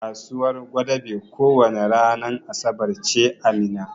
Kasuwan gwadabe ko wani ranan asabar ce a Minna.